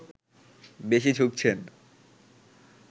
বেশি ঝুঁকছেন